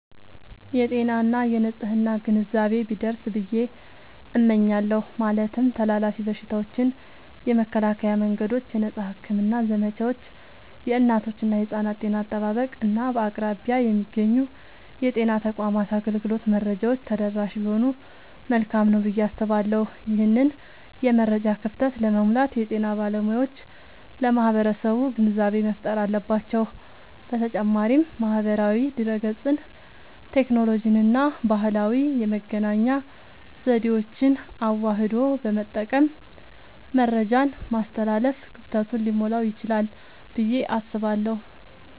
የጤና እና የንፅህና ግንዛቤ ቢደርስ ብየ እመኛለሁ። ማለትም ተላላፊ በሽታዎችን የመከላከያ መንገዶች፣ የነፃ ሕክምና ዘመቻዎች፣ የእናቶችና የሕፃናት ጤና አጠባበቅ፣ እና በአቅራቢያ የሚገኙ የጤና ተቋማት አገልግሎት መረጃዎች ተደራሽ ቢሆኑ መልካም ነዉ ብየ አስባለሁ። ይህንን የመረጃ ክፍተት ለመሙላት የጤና ባለሙያዎች ለማህበረሰቡ ግንዛቤ መፍጠር አለባቸዉ። በተጨማሪም ማህበራዊ ድህረገጽን፣ ቴክኖሎጂንና ባህላዊ የመገናኛ ዘዴዎችን አዋህዶ በመጠቀም መረጃን ማስተላለፍ ክፍተቱን ሊሞላዉ ይችላል ብየ አስባለሁ።